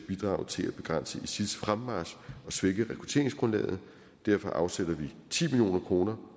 bidrage til at begrænse isils fremmarch og svække rekrutteringsgrundlaget derfor afsætter vi ti million kroner